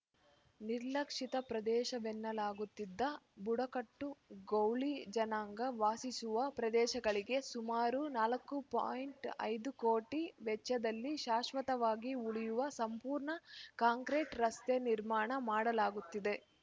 ನಿರ್ಲಕ್ಷಿತ ಪ್ರದೇಶವೆನ್ನಲಾಗುತ್ತಿದ್ದ ಬುಡ ಕಟ್ಟು ಗೌಳಿ ಜನಾಂಗ ವಾಸಿಸುವ ಪ್ರದೇಶಗಳಿಗೆ ಸುಮಾರು ನಾಲ್ಕು ಪಾಯಿಂಟ್ ಐದು ಕೋಟಿ ವೆಚ್ಚದಲ್ಲಿ ಶಾಶ್ವತವಾಗಿ ಉಳಿಯುವ ಸಂಪೂರ್ಣ ಕಾಂಕ್ರೀಟ್ ರಸ್ತೆ ನಿರ್ಮಾಣ ಮಾಡಲಾಗುತ್ತಿದೆ